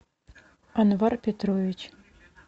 анвар петрович